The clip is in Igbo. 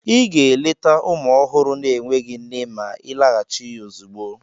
Ị ga-eleta ụmụ ọhụrụ na-enweghị nne ma ịlaghachi ozugbo!